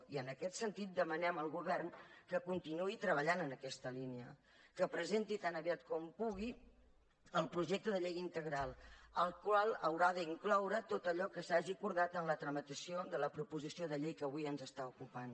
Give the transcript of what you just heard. i en aquest sentit demanem al govern que continuï treballant en aquesta línia que presenti tan aviat com pugui el projecte de llei integral al qual haurà d’incloure tot allò que s’hagi acordat en la tramitació de la proposició de llei que avui ens ocupa